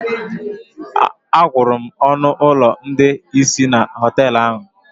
Agwụrụ m ọnụ ụlọ ndị isi na họtelu ahụ